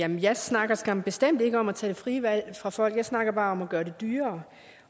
jeg snakker snakker bestemt ikke om at tage det frie valg fra folk jeg snakker bare om at gøre det dyrere